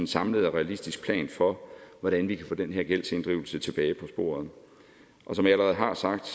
samlet og realistisk plan for hvordan vi kan få den her gældsinddrivelse tilbage på sporet og som jeg allerede har sagt